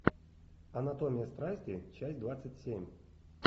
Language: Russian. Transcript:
анатомия страсти часть двадцать семь